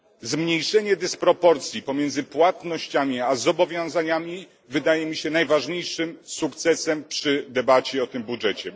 Zmniejszenie dysproporcji pomiędzy płatnościami a zobowiązaniami wydaje mi się najważniejszym sukcesem przy debacie o tym budżecie.